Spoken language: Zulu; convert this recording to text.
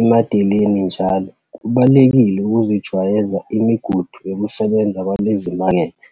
emadeleni, njal. Kubalulekile ukuzijwayeza imigudu yokusebenza kwalezi zimakethe.